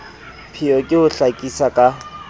pheo ke ho hlakisa ka